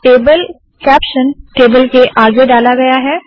table caption table के आगे डाला गया है